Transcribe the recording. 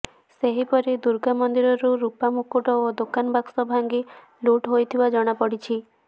ସେହିପରି ଦୁର୍ଗା ମନ୍ଦିରରୁ ରୂପା ମୁକୁଟ ଓ ଦାନବାକ୍ସ ଭାଙ୍ଗି ଲୁଟ ହୋଇଥିବା ଜଣାପଡ଼ିଛି